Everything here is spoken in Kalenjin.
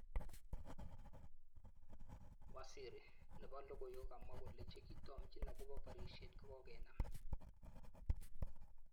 Waziri. nepo logoiywrk kokamwa kole chekitomchin akopo porishet kokokenam